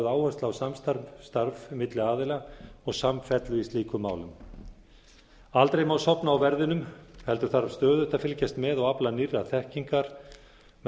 áhersla á samstarf milli aðila og samfellu í slíkum málum aldrei má sofna á verðinum heldur þarf stöðugt að fylgjast með og afla nýrrar þekkingar með það